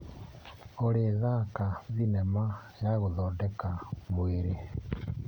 Olĩ thaka thinema ya gũthondeka mwĩrĩ.